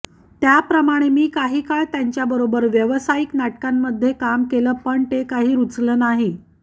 त्याप्रमाणे मी काही काळ त्यांच्याबरोबर व्यावसायिक नाटकांमध्ये काम केलं पण ते काही रुचलं नाही